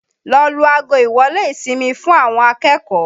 Lọ lu ago ìwọ́lé ìsinmi fún àwọn akẹ́kọ̀ọ́!